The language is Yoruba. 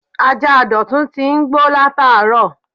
Ajá Dotun ti ń gbó lataaro